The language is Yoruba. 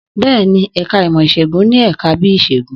Bẹ́ẹ̀ni, ẹ̀ka ìmọ̀ Ìṣègùn ní ẹ̀ka bíi Ìṣègùn